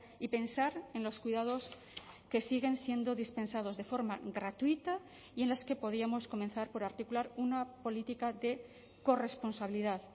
y pensar en los cuidados que siguen siendo dispensados de forma gratuita y en las que podíamos comenzar por articular una política de corresponsabilidad